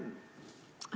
Aitäh!